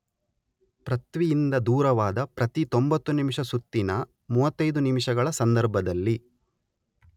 ಪೃಥ್ವಿಯಿಂದ ದೂರವಾದ ಪ್ರತಿ ತೊಂಬತ್ತು ನಿಮಿಷ ಸುತ್ತಿನ ಮೂವತ್ತೈದು ನಿಮಿಷಗಳ ಸಂದರ್ಭದಲ್ಲಿ